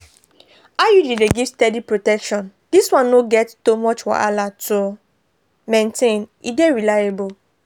iud dey give steady protection this one no get to much wahala to maintain e dey reliable.